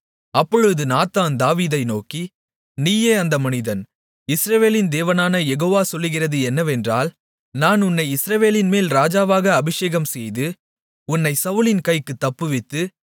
அப்பொழுது நாத்தான் தாவீதை நோக்கி நீயே அந்த மனிதன் இஸ்ரவேலின் தேவனான யெகோவா சொல்லுகிறது என்னவென்றால் நான் உன்னை இஸ்ரவேலின்மேல் ராஜாவாக அபிஷேகம்செய்து உன்னைச் சவுலின் கைக்குத் தப்புவித்து